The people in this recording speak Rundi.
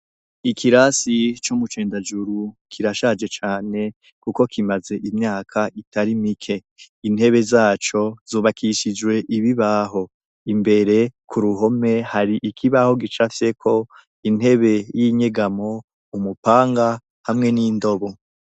Ikirasi co mu Cendajuru kirashaje cane kuko kimaze imyaka itari mike, intebe zaco zubakishijwe ibibaho, imbere ku ruhome hari ikibaho gicafyeko intebe y'inyegamo, umupanga hamwe n'indobo.